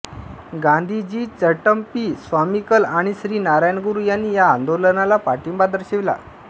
गांधीजी चटंपी स्वामीकल आणि श्री नारायण गुरु यांनी या आंदोलनाला पाठिंबा दर्शविला